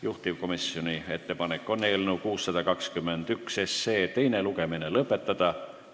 Juhtivkomisjoni ettepanek on eelnõu 621 teine lugemine lõpetada.